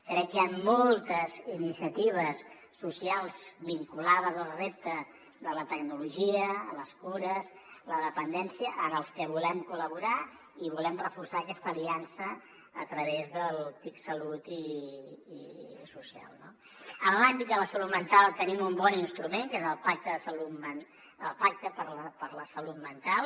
crec que hi han moltes iniciatives socials vinculades al repte de la tecnologia les cures la dependència en les que volem col·laborar i volem reforçar aquesta aliança a través del tic salut i social no en l’àmbit de la salut mental tenim un bon instrument que és el pacte per la salut mental